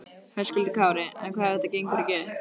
Höskuldur Kári: En hvað ef þetta gengur ekki upp?